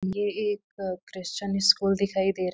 ये एक Christian school दिखाई दे रहा है।